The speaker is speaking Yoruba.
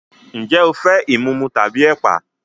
Ǹjẹ́ o fẹ́ ìmumu tàbí ẹ̀pà?